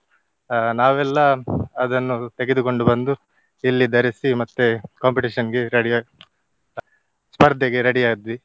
ಅಹ್ ನಾವೆಲ್ಲಾ ಅದನ್ನು ತೆಗೆದುಕೊಂಡು ಬಂದು ಇಲ್ಲಿ ಧರಿಸಿ ಮತ್ತೆ competition ಗೆ ready ಆಗಿ ಸ್ಪರ್ಧೆಗೆ ready ಆದ್ವಿ.